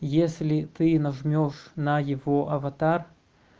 если ты нажмёшь на его аватар